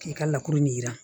K'i ka lakuru ɲɛ